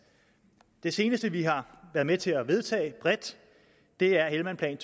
det seneste vi har været med til at vedtage bredt er helmandplanen